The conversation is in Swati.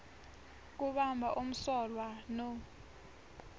kubamba umsolwa no